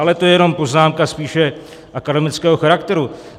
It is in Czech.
Ale to je jenom poznámka spíše akademického charakteru.